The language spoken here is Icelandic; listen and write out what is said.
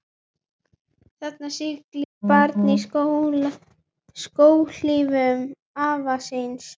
Þarna siglir barn í skóhlífum afa síns.